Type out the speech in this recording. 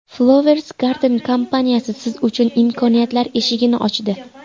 Flowers Garden kompaniyasi siz uchun imkoniyatlar eshigini ochdi!